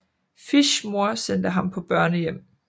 Fishs mor sendte ham på børnehjem